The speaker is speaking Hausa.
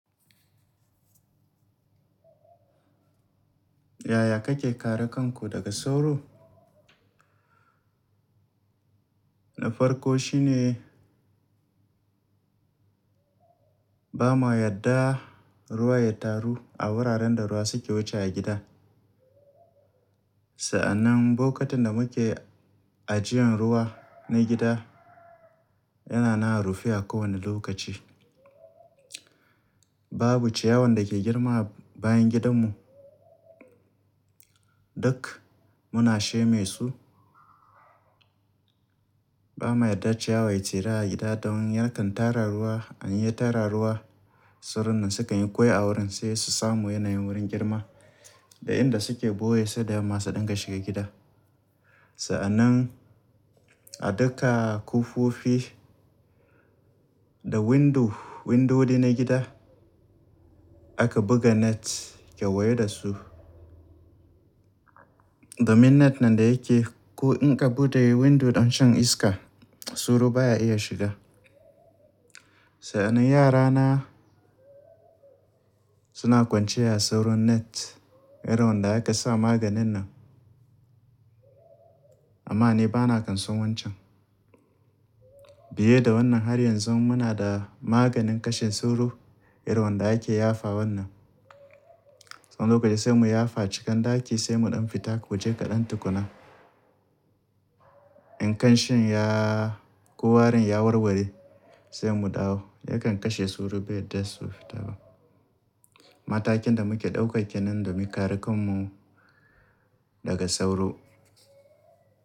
Yaya kake kare kanku daga sauro? Na farko shine ba ma yadda ruwa ya taru a wuraren da ruwa suke wuce a gida. Sa'annan bokatin da muke ajiyan ruwa na gida yana nan a rufe a kowane lokaci. Babu ciyawan dake girma a bayan gidanmu. Duk muna sheme su. Ba ma yadda ciyawa ya cira a gida don yakan tara ruwa. In ya tara ruwa, sauron nan sukan yi kwai a wurin sai su samu yanayin wurin girma da inda suke boye sai da yamma su dinga shiga gida. Sa'annan a duka kofofi da window, windodi na gida aka buga net kewaye da su. Domin net nan da yake ko in ka bude window don shan iska sauro baya iya shiga. Sa'annan yarana suna kwanciya a soron net irin wanda aka sa maganin nan. Amma ni bana kansun wancan. Biye da wannan har yanzu muna da maganin kashe sauro irin wanda yake yafa wannan. Wani lokaci sai mu yafa cikin daki sai mu ɗan fita waje kaɗan tukuna. In kanshin yaa ko warin ya warware sai mu dawo yakan kashe sauro bai yadda su fita ba. Matakin da muke ɗauka kenan domin kare kanmu daga sauro.